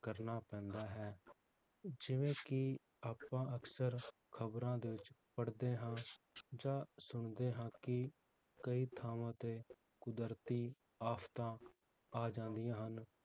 ਕਰਨਾ ਪੈਂਦਾ ਹੈ ਜਿਵੇ ਕਿ ਆਪਾਂ ਅਕਸਰ ਖਬਰਾਂ ਦੇ ਵਿਚ ਪੜ੍ਹਦੇ ਹਾਂ ਜਾਂ ਸੁਣਦੇ ਹਾਂ ਕਿ ਕਈ ਥਾਵਾਂ ਤੇ ਕੁਦਰਤੀ ਆਫ਼ਤਾਂ ਆ ਜਾਂਦੀਆਂ ਹਨ